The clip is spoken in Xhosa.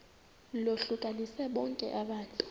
lohlukanise bonke abantu